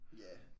Ja